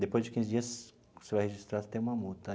Depois de quinze dias, você vai registrar, você tem uma multa.